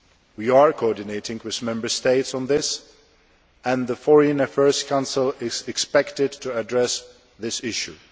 We are coordinating with Member States on this and the Foreign Affairs Council is expected to address this issue.